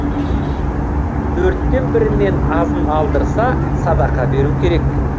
төрттен бірінен азын алдырса садақа беру керек